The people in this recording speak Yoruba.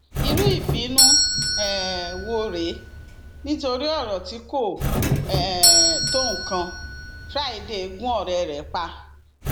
wọn tọrọ àforíjì wọn sì rawọ um ẹbẹ sáwọn mọlẹbí pé kí um wọn jíjẹrẹ lórí àjálù burúkú yìí